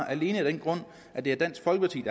alene af den grund at det er dansk folkeparti